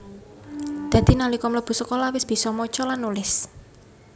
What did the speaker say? Dadi nalika mlebu sekolah wis bisa maca lan nulis